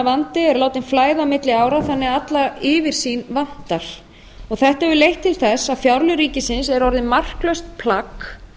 vandi er látinn flæða á milli ára þannig að alla yfirsýn vantar og þetta hefur leitt til að fjárlög ríkisins eru orðin marklaust plagg